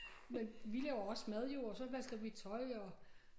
Men vi laver også mad jo og så vasker vi tøj og